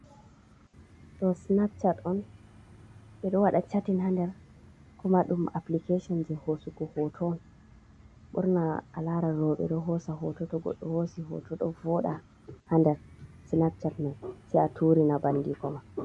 Ɗo snapchat on, ɓe ɗo waɗa chatin ha nder. Kuma ɗum aplikeshon jei hosugo hoto. Ɓurna a laran rowɓe ɗo hosa hoto, to goɗɗo hosi hoto ɗo vooɗa ha nder snapchat mai, se a turina bandiko ma.